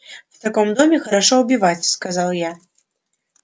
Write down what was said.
в таком доме хорошо убивать сказал я